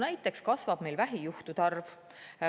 Näiteks kasvab meil vähijuhtude arv.